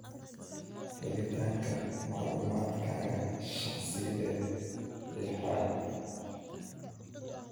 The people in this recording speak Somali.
Helitaanka macluumaadkaaga shakhsiyeed lixaad.